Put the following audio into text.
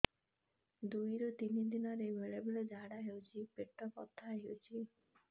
ଦୁଇରୁ ତିନି ଦିନରେ ବେଳେ ଝାଡ଼ା ହେଉଛି ପେଟ ବଥା ହେଉଛି